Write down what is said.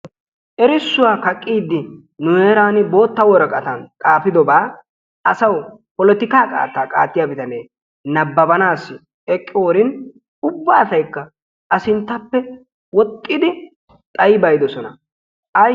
Erissuwa kaqiidi nu heeran bootta woraqqatan xaafidoba asawu polotikka qaatta qaattiya bitanee nababbanaw eqqiyoorin ubba asaykka a sinttappe woxxidi xayyibaydoosona,